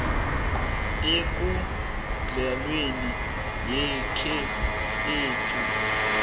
ekondlweni yakhe ethi